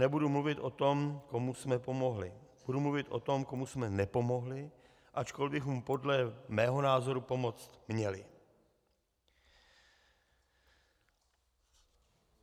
Nebudu mluvit o tom, komu jsme pomohli, budu mluvit o tom, komu jsme nepomohli, ačkoli bychom podle mého názoru pomoci měli.